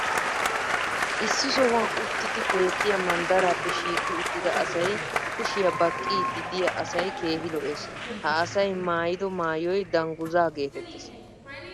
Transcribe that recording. issi sohuwan uttidi beettiya manddaraappe shiiqqi uttida asay kushiya baqqiidi diya asay keehi lo'ees. ha asay maayiddo maayoy dangguzaa geetettees.